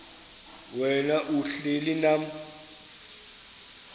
wena uhlel unam